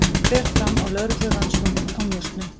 Fer fram á lögreglurannsókn á njósnum